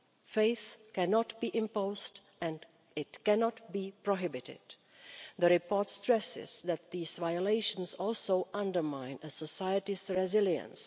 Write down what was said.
Faith cannot be imposed and it cannot be prohibited. The report stresses that these violations also undermine a society's resilience.